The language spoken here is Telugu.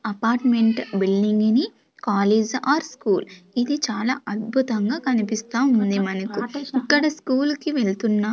అపార్ట్మెంట్ బిల్డింగ్ ని కాలేజ్ ఆర్ స్కూల్ ఇది చాలా అద్భుతంగా కనిపిస్తా ఉంది మనకు ఇక్కడ స్కూల్ కి వెళ్తున్న.